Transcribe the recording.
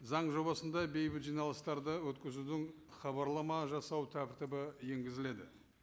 заң жобасында бейбіт жиналыстарды өткізудің хабарлама жасау тәртібі енгізіледі